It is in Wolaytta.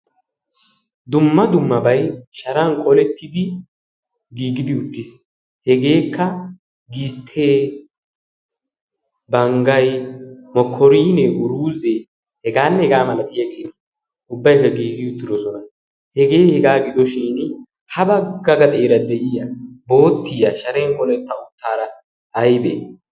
dumma dummabai sharan qolettidi giigidi uttiis hegeekka gisttee banggai mokorinee uruzee hegaanne hegaa malatiya geetii ubbaikka giigi uttirosona hegee hegaa gidoshin ha baggaga xeera de7iya boottiya sharen qoletta uttaara aibee?